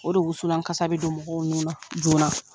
O de wuslankasa bɛ don mɔgɔw nun na joona.